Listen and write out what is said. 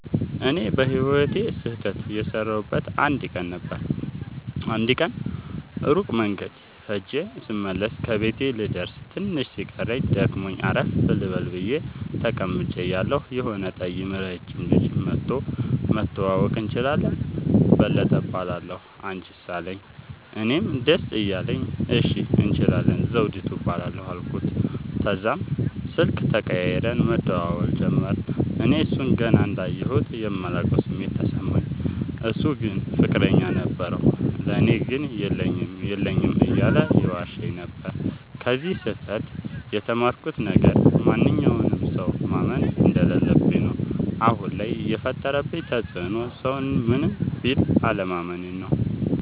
እኔ በህይወቴ ስህተት የሠረውበት አንድ ቀን ነበር። አንድ ቀን ሩቅ መንገድ ኸጀ ስመለስ ከቤቴ ልደርስ ትንሽ ሲቀረኝ ደክሞኝ አረፍ ልበል ብየ ተቀምጨ እያለሁ የሆነ ጠይም ረጅም ልጅ መኧቶ<< መተዋወቅ እንችላለን በለጠ እባላለሁ አንችስ አለኝ>> አለኝ። እኔም ደስ እያለኝ እሺ እንችላለን ዘዉዲቱ እባላለሁ አልኩት። ተዛም ስልክ ተቀያይረን መደዋወል ጀመርን። እኔ እሡን ገና እንዳየሁት የማላቀዉ ስሜት ተሰማኝ። እሡ ግን ፍቅረኛ ነበረዉ። ለኔ ግን የለኝም የለኝም እያለ ይዋሸኝ ነበር። ከዚ ስህተ ት የተማርኩት ነገር ማንኛዉንም ሠዉ ማመን እንደለለብኝ ነዉ። አሁን ላይ የፈጠረብኝ ተፅዕኖ ሠዉን ምንም ቢል አለማመኔ ነዉ።